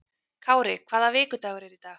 Kári, hvaða vikudagur er í dag?